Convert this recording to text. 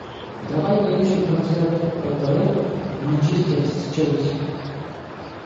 давай поищем трансляцию апл манчестер с челси